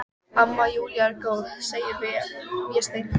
Amma Júlía er góð, segir Vésteinn.